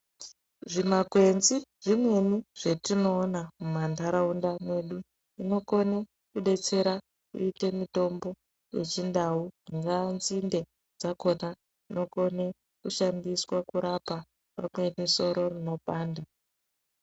Zvimakwenzi zvimweni zvetinoona mumantaraunda mwedu zvinokone kudetsera kuite mitombo yechindau. Dzingaa nzinde dzakona dzinokone kushandiswa kurapa pamweni nesoro rinopanda.